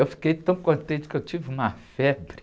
Eu fiquei tão contente que eu tive uma febre.